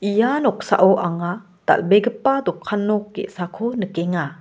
ia noksao anga dal·begipa dokan nok ge·sako nikenga.